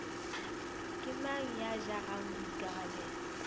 ke mang ya jarang boikarabelo